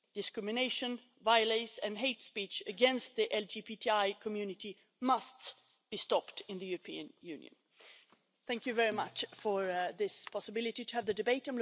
Discrimination, violence and hate speech against the LGBTI community must be stopped in the European Union. Thank you very much for this possibility to have the debate.